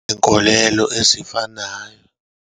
Inkolelo ezifanayo.